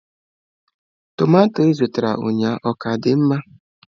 Tọmatọ ị zụtara ụnyaahụ ọ ka dịkwa mma?